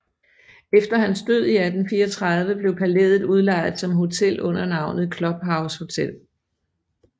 Efter hans død i 1834 blev palæet udlejet som hotel under navnet Club House Hotel